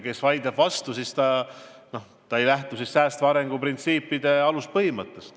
Kes vaidleb vastu, see ei lähtu säästva arengu printsiipide aluspõhimõttest.